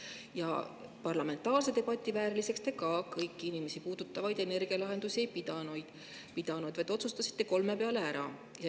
Ja parlamentaarse debati vääriliseks te kõiki inimesi puudutavaid energialahendusi ka ei pidanud, vaid otsustasite kolme peale ära.